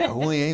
É ruim, hein?